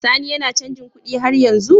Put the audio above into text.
Sani yAna canji kuɗi har yanzu?